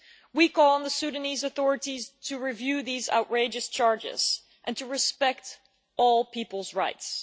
We call on the Sudanese authorities to review these outrageous charges and to respect all people's rights.